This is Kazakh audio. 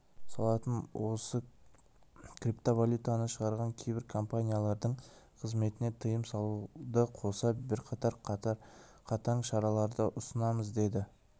салатын осы криптовалютаны шығаратын кейбір компаниялардың қызметіне тыйым салуды қоса бірқатар қатаң шараларды ұсынамыз деді